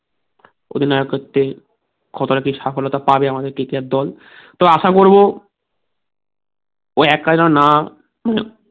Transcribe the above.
অধিনায়ক করতে কতটা কি সাফল্যতা পাবে আমাদের KKR দল তো আশা করবো ও এক যেন না